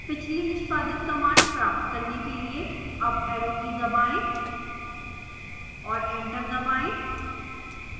पिछली निष्पादित command प्राप्त करने के लिए अप arrow की दबाएं और enter दबाएं